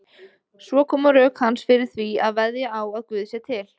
Svo koma rök hans fyrir því að veðja á að Guð sé til.